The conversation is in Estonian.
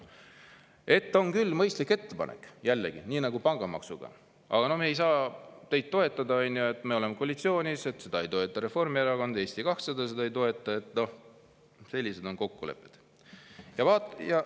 Ja sotsid ütlevad, et on küll mõistlik ettepanek, jällegi, nii nagu ka pangamaks, aga me ei saa teid toetada, me oleme koalitsioonis, seda ei toeta Reformierakond, Eesti 200 seda ei toeta – noh, sellised on kokkulepped.